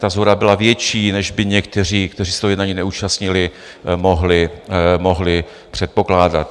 Ta shoda byla větší, než by někteří, kteří se toho jednání neúčastnili, mohli předpokládat.